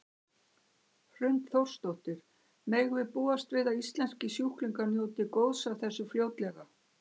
Hrund Þórsdóttir: Megum við búast við að íslenskir sjúklingar njóti góðs af þessu fljótlega?